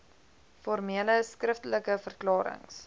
formele skriftelike verklarings